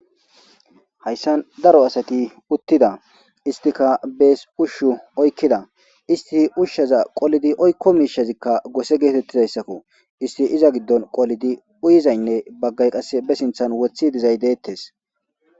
hayssan daro asati uttida istika bees ushshu oykkida isti ushsheza qolidi oykko miishazikka gose geetettidayssakko isti iza giddon qolidi uyizaynne baggay qasse be sinthan wothi dizay deettes